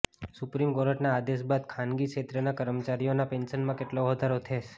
supreme કોર્ટના આદેશ બાદ ખાનગી ક્ષેત્રના કર્મચારીઓના પેન્શનમાં કેટલો વધારો થેસ